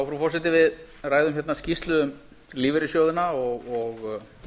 frú forseti við ræðum hérna skýrslu um lífeyrissjóðina og